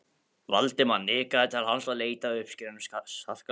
Valdimar nikkaði til hans og leitaði að uppsprettu skarkalans.